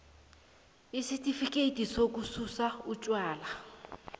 isitifikhethi sokususa utjwala